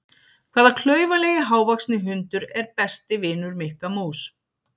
Hvaða klaufalegi hávaxni hundur er besti vinur Mikka mús?